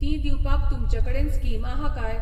तीं दिवपाक तुमचे कडेन स्कीम आहा काय